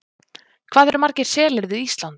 Hvað eru margir selir við Ísland?